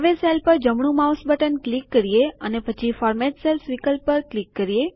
હવે સેલ પર જમણું માઉસ બટન ક્લિક કરીએ અને પછી ફોર્મેટ સેલ્સ વિકલ્પ પર ક્લિક કરીએ